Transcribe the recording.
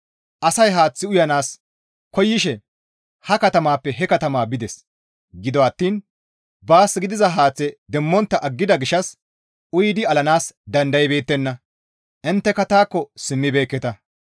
Asay haath uyanaas koyishe ha katamappe he katama bides; gido attiin baas gidiza haaththe demmontta aggida gishshas uyidi alanaas dandaybeettenna; intteka taakko simmibeekketa.